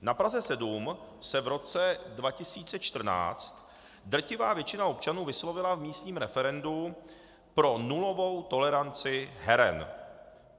Na Praze 7 se v roce 2014 drtivá většina občanů vyslovila v místním referendu pro nulovou toleranci heren.